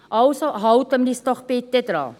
Also, halten wir uns daran.